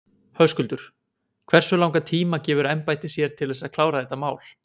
Höskuldur: Hversu langan tíma gefur embættið sér til þess að klára þetta mál?